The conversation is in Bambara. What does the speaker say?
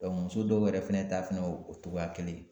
muso dɔw yɛrɛ fɛnɛ ta fɛnɛ o togoya kelen ye.